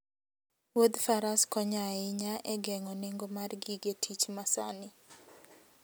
wuodhFaras konyo ahinya e geng'o nengo mar gige tich masani.